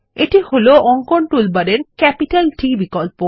এই হল অঙ্কন টুলবারের ক্যাপিটাল T বিকল্প